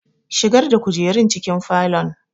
Shigar da kujerun cikin falon!